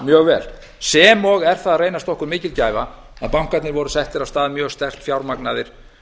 mjög vel sem og er það að reynast okkur mikil gæfa að bankarnir voru settir af stað mjög sterkt fjármagnaðir